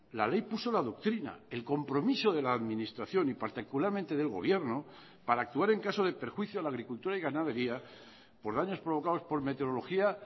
la ley puso la doctrina el compromiso de la administración y particularmente del gobierno para actuar en caso de perjuicio a la agricultura y ganadería por daños provocados por meteorología